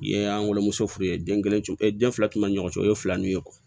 I ye an wamuso furu ye den kelen tun bɛ ɲɔgɔn cɛ o ye fila ninnu ye